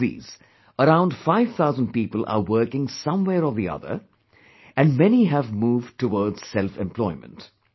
Out of these, around five thousand people are working somewhere or the other, and many have moved towards selfemployment